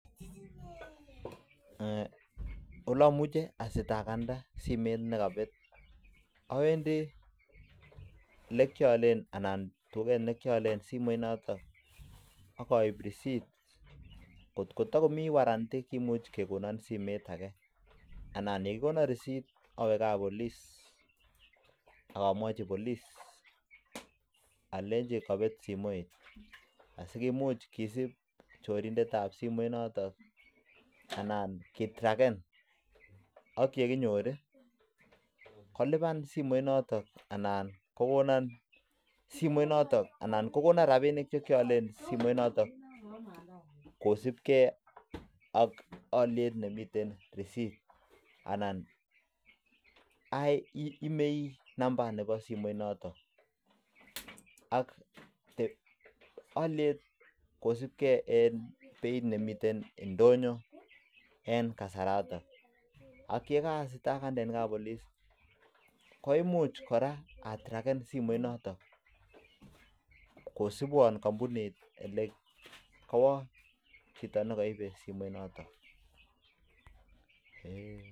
Awendiii tuget nikialee akot koo takomiee (warranty) komuch kekonoo akee anan ye kakikonoo (resit) awee kap (police) sikusub chorindet notok anan ke(truckan) sikokonoi simoit notok ana ko alwa akee